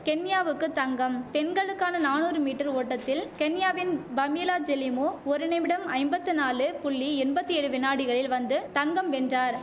கென்யாவுக்கு தங்கம் பெண்களுக்கான நானூறு மீட்டர் ஓட்டத்தில் கென்யாவின் பமீலா ஜெலிமோ ஒரு நிமிடம் ஐம்பத்துநாலு புள்ளி எம்பத்தி ஏழு வினாடிகளில் வந்து தங்கம் வென்றார்